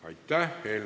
Aitäh!